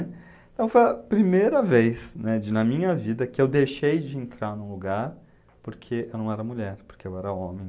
Então foi a primeira vez, né, de na minha vida que eu deixei de entrar num lugar porque eu não era mulher, porque eu era homem.